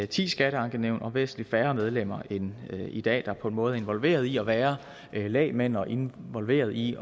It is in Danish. ti skatteankenævn og væsentlig færre medlemmer end i dag der på den måde er involveret i at være lægmænd og involveret i